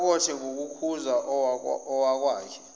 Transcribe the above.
alokothe ngokukhuza owakwakhe